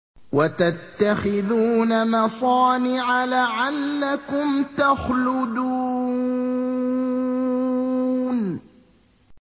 وَتَتَّخِذُونَ مَصَانِعَ لَعَلَّكُمْ تَخْلُدُونَ